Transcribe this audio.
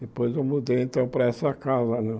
Depois eu mudei, então, para essa casa né.